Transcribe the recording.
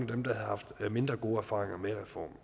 dem der har haft mindre gode erfaringer med reformen